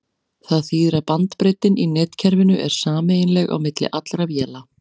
Það þýðir að bandbreiddin í netkerfinu er sameiginleg á milli allra véla.